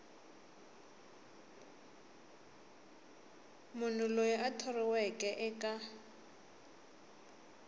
munhu loyi a thoriweke eka